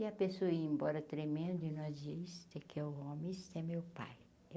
E a pessoa ia embora tremendo, e nós dizia isso é que é o homem, isso é meu pai.